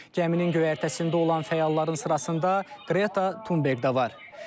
Gəminin göyərtəsində olan fəalların sırasında Qreta Tunberk də var.